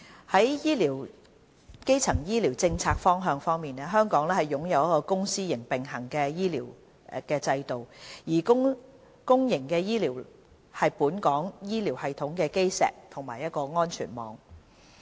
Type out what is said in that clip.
在基層醫療政策方向方面，香港擁有一個公私營並行的醫療制度，而公營醫療是本港醫療系統的基石和安全網。